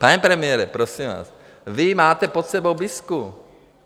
Pane premiére, prosím vás, vy máte pod sebou BIS.